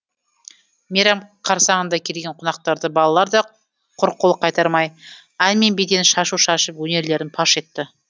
мейрам қарсаңында келген қонақтарды балалар да құрқол қайтармай ән мен биден шашу шашып өнерлерін паш етті